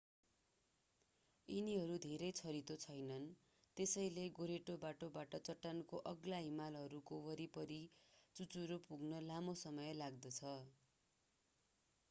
यिनीहरू धेरै छरितो छैनन् त्यसैले गोरेटो बाटोबाट चट्टानको अग्ला हिमालहरूको वरिपरि चुचुरो पुग्न लामो समय लाग्दछ